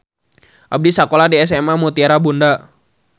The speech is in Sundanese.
Abdi sakola di SMA Mutiara Bunda.